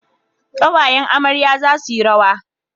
Kawayen amarya za su yi rawa